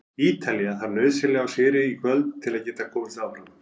Ítalía þarf því nauðsynlega á sigri í kvöld til að geta komist áfram.